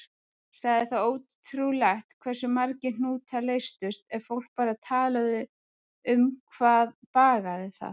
Sagði það ótrúlegt hversu margir hnútar leystust ef fólk bara talaði um hvað bagaði það.